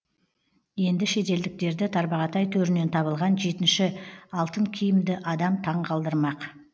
енді шетелдіктерді тарбағатай төрінен табылған жетінші алтын киімді адам таң қалдырмақ